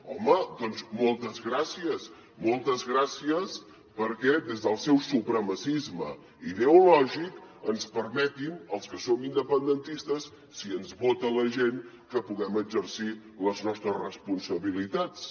home doncs moltes gràcies moltes gràcies perquè des del seu supremacisme ideològic ens permetin als que som independentistes si ens vota la gent que puguem exercir les nostres responsabilitats